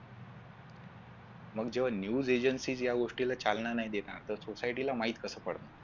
मग जेव्हा news agencies या गोष्टीला चालना नाही देणार तर society ला माहित कस पडत